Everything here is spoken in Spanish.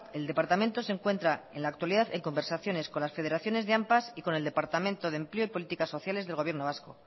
el departamento se encuentra en la actualidad en conversaciones con las federaciones de ampas y con el departamento de empleo y políticas sociales del gobierno vasco